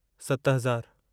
सत हज़ारु